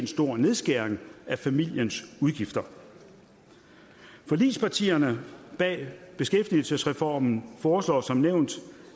stor nedskæring af familiens udgifter forligspartierne bag beskæftigelsesreformen foreslår som nævnt